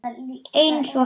Einsog hann.